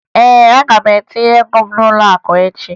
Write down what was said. Ee, aga m etinye ago m n'ụlọakụ echi